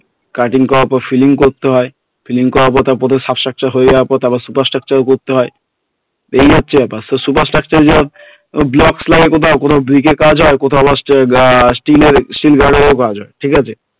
Cutting করার পর filling করতে হয় filling করার পর তারপর sub structure হয়ে যাওয়ার পর তারপর super structure ও করতে হয় তো এই হচ্ছে ব্যাপার super structure তো blocks লাগে কোথাও কোথাও bricks এ কাজ হয় কোথাও আবার steel steel steel guard এর কাজ হয় ঠিক আছে